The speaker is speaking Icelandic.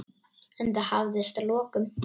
En það hafðist að lokum.